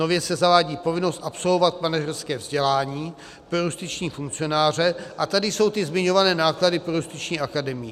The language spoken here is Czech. Nově se zavádí povinnost absolvovat manažerské vzdělání pro justiční funkcionáře, a tady jsou ty zmiňované náklady pro Justiční akademii.